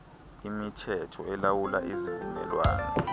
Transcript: imithetho elawula izivumelwano